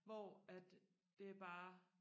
hvor at det bare